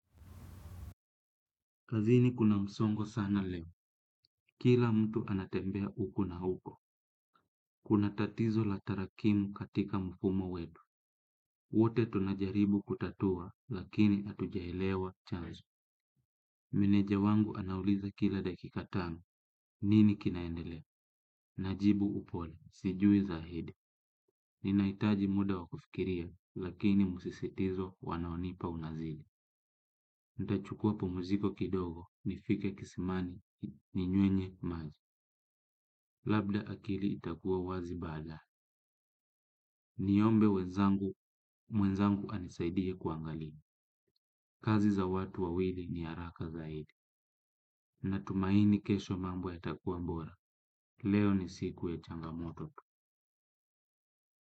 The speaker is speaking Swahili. Kazini kuna msongo sana leo, kila mtu anatembea huko na huko, kuna tatizo la tarakimu katika mfumo wetu, wote tunajaribu kutatua lakini hatujaelewa chazo. Meneja wangu anauliza kila dakika tano, nini kinaendelea, najibu upole, sijui zaidi, ninahitaji muda wa kufikiria lakini msisitizo wanaonipa unazidi. Nitachukua pumuziko kidogo, nifike kisimani, ninywenye maji. Labda akili itakuwa wazi baadaye. Niombe mwenzangu anisaidie kuangalia. Kazi za watu wawili ni haraka zaidi. Natumaini kesho mambo yatakuwa bora. Leo ni siku ya changamoto tu.